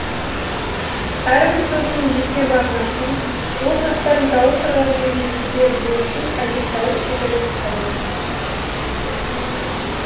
әрбір сөздің жеке мағынасын оның астарын дауыс ырғағымен жеткізе білу үшін әжептәуір шеберлік қажет